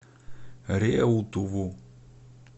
реутову